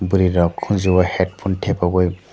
bwri rok konjo o headphone tepai oe.